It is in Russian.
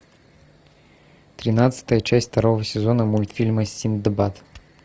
тринадцатая часть второго сезона мультфильма синдбад